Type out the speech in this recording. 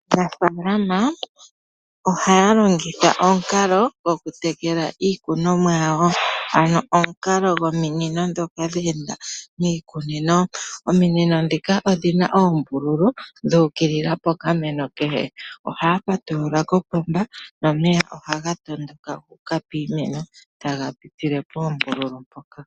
Aanafaalama ohaya longitha omukalo gwo kutekela iikunomwa yawo, ano omukalo gwominino dhoka dheenda miikunino, ominino dhika odhina oombululu dhuukilila pokameno kehe, ohaya patulula kopomba nomeya ohaga yondoka guuka piimeno taga pitile poombululu mpoka.